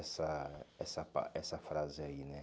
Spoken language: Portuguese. essa essa par essa frase aí, né?